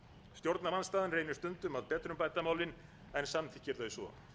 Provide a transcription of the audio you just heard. stjórnarandstaðan reynir stundum að betrumbæta málin en samþykkir þau svo